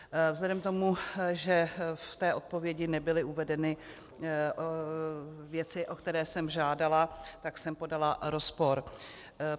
Vzhledem k tomu, že v té odpovědi nebyly uvedeny věci, o které jsem žádala, tak jsem podala rozpor.